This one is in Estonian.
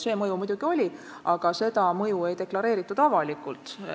See mõju muidugi oli, aga seda ei deklareeritud avalikult.